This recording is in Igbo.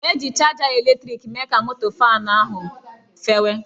Eji chaja eletrịkị mee ka moto faanụ ahụ fewe